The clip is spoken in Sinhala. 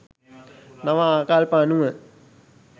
නව ආකල්ප අනුව